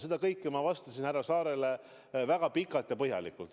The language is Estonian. Seda kõike ma vastasin härra Saarele väga pikalt ja põhjalikult.